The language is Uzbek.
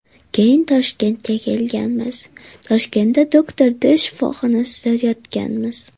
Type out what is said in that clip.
Keyin Toshkentga kelganmiz, Toshkentda Doctor D shifoxonasida yotganmiz.